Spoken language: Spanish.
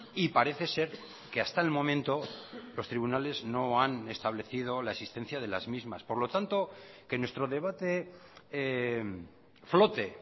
y parece ser que hasta el momento los tribunales no han establecido la existencia de las mismas por lo tanto que nuestro debate flote